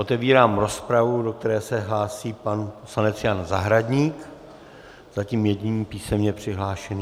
Otevírám rozpravu, do které se hlásí pan poslanec Jan Zahradník, zatím jediný písemně přihlášený.